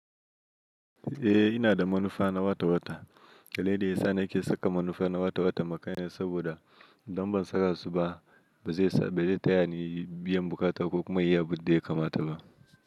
Eh ina da manufa na wata-wata, dalili da yasa na ke saka manufa na wata-wata m ma kaina saboda idan ban saka su ba, bazai sa ba zai tayani biyan buƙatar ko kuma in yi abun da ya kamata ba.